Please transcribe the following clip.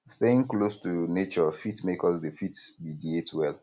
staying close to nature fit make us dey fit meditate well